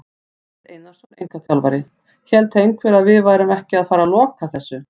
Egill Einarsson, einkaþjálfari: Hélt einhver að við værum ekki að fara loka þessu!?